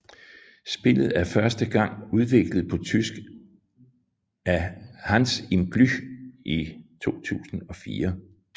Spillet er første gang udgivet på tysk af Hans im Glück i 2004